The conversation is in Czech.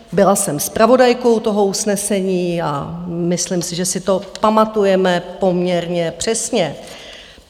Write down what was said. Byla jsem zpravodajkou toho usnesení a myslím si, že si to pamatujeme poměrně přesně.